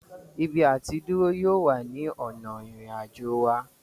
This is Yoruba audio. Ibi àtidúró yóò wà ní ònà ìrìn àjò wa